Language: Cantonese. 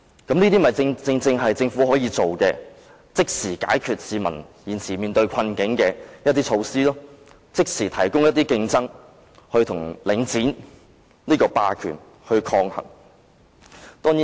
這正正是政府可以做的事情，是可以即時解決市民現時面對的困境的措施，可即時促進競爭，與領展這個霸權抗衡。